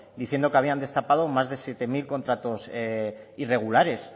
diciendo que habían destapado más de siete mil contratos irregulares